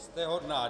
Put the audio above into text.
Jste hodná.